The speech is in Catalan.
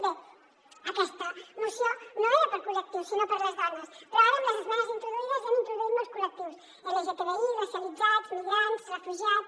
bé aquesta moció no era per a col·lectius sinó per a les dones però ara amb les esmenes introduïdes hi han introduït molts col·lectius lgtbi racialitzats migrants refugiats